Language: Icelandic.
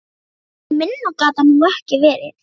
Minna gat það nú ekki verið.